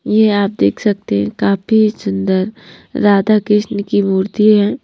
यह आप देख सकते हैं काफी सुंदर राधा कृष्ण की मूर्ति है।